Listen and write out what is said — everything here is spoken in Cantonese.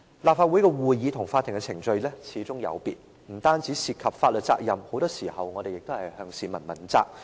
立法會的會議與法庭的程序始終有別，不但涉及法律責任，我們很多時候亦要向市民問責。